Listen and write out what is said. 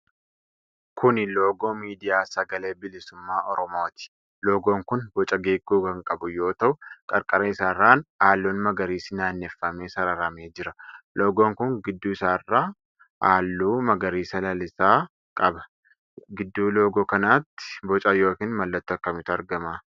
Kuni loogoo midiyaa Sagalee Bilisummaa Oromooti. Loogoon kun boca geengoo kan qabu yoo ta'u qarqara isaarraan halluun magariisi naanneffamee sararamee jira. Loogoon kun gidduu isaarraan halluu magariisa lalisaa qaba. Gidduu loogoo kanaatti boca yookiin mallattoo akkamiitu argama?